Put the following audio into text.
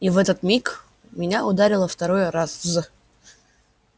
и в этот миг меня ударило второй раз